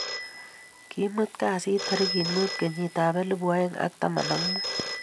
Kimut kasit tarikit mut kenyit ab elipu aeng ak taman ak mut